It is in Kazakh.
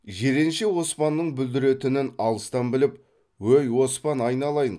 жиренше оспанның бүлдіретінін алыстан біліп өй оспан айналайын